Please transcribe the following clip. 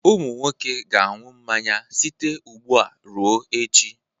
Ụmụ nwoke ga-aṅụ mmanya site ugbu a ruo echi